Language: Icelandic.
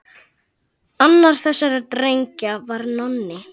Annar þessara drengja var Nonni.